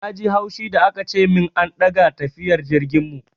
Na ji haushi da aka ce min an ɗaga tafiyar jirgin mu.